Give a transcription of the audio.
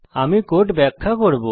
আমি কোড ব্যাখ্যা করব